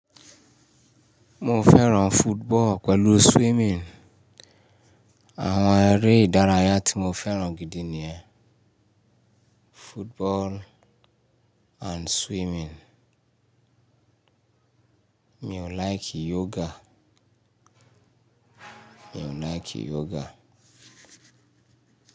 Mo fẹ́ràn football pẹ̀lú swimming. Àwọn eré ìdárayá tí mo fẹ́ràn gidi ni yẹn, football and swimming. Mi ò like yoga. Mi ò like yoga.